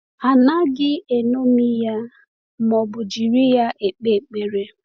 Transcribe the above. A naghị eṅomi ya ma ọ bụ jiri ya ekpe ekpere.